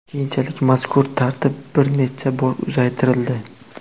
Keyinchalik mazkur tartib bir necha bor uzaytirildi.